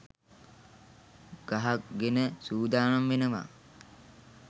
ගහගෙන සූදානම් වෙනව